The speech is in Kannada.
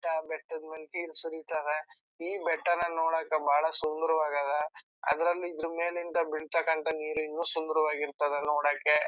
ಬೆಟ್ಟ ಬೆಟ್ಟದು ಮೇಲೆ ನೀರು ಸುರಿತುದೆ ಈ ಬೆಟ್ಟಾನ ನೋಡಾಕ ಬಹಳ ಸುಂದರವಾಗ ಅಧ ಅದ್ರಲ್ಲಿ ಇದರೂ ಮೇಲಿಂದ ಬೀಳ್ತಕಂತ ನೀರು ಇನ್ನು ಸುಂದವರಾಗಿ ಇರ್ತಾಧ ನೋಡಾಕೆ.